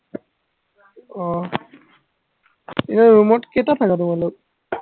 অ এৰ room ত কেইটা থাকা তোমালোক